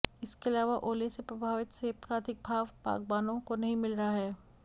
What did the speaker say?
इसके अलावा ओले से प्रभावित सेब का अधिक भाव बागबानों को नहीं मिल रहा है